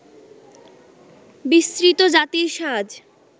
বিস্মৃত জাতির সাজ